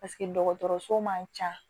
dɔgɔtɔrɔso man ca